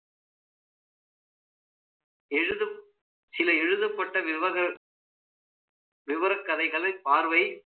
சில எழுதப்பட்ட, விவரக் கதைகளை பார்வைகள்